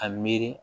A miiri